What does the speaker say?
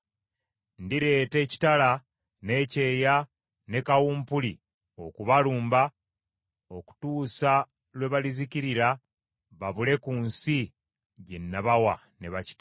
Ndireeta ekitala, n’ekyeya, ne kawumpuli okubalumba okutuusa lwe balizikirira babule ku nsi gye nabawa ne bakitaabwe.’ ”